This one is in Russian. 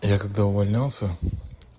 я когда увольнялся